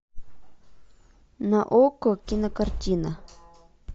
на окко кинокартина